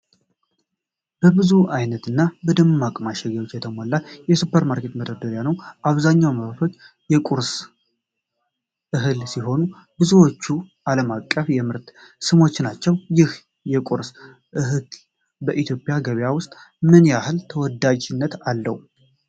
በብዙ ዓይነት እና በደማቅ ማሸጊያዎች የተሞላ የሱፐርማርኬት መደርደሪያ ነው። አብዛኞቹ ምርቶች የቁርስ እህል ሲሆኑ፣ ብዙዎቹም ዓለም አቀፍ የምርት ስሞች ናቸው። ይህ የቁርስ እህል በኢትዮጵያ ገበያ ውስጥ ምን ያህል ተወዳጅነት አለው?